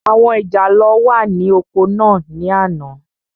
Àwọn ìjàlọ́ wà ní oko ní àná.